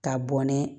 Ka bɔn n'a ye